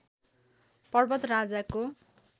पर्वत राजाको